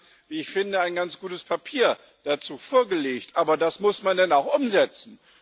Und Sie haben wie ich finde ein ganz gutes Papier dazu vorgelegt, aber das muss man dann auch umsetzen.